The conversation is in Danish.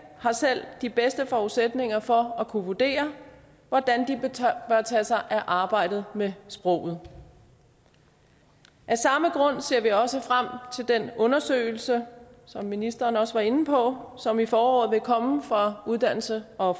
har selv de bedste forudsætninger for at kunne vurdere hvordan de bør tage sig af arbejdet med sproget af samme grund ser vi også frem til den undersøgelse som ministeren også var inde på og som i foråret fra uddannelses og